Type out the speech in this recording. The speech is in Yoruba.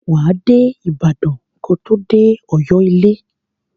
Wà á dé Ibàdàn ko tó dé Ọ̀yọ́ ilé.